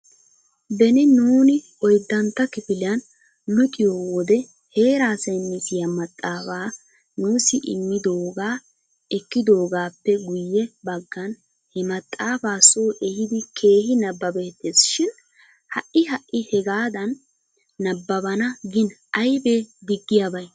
Beni nuuni oyddantta kifiliyan luxiyoo wode heeraa saynisiyaa maxaafaa nuussi immidoogaa ekkidoogaappe guyye baggan he maxaafaa soo ehidi keehi nabbabeettes shin ha'i ha'i hegaadan nabbabana gin aybee diggiyaabay?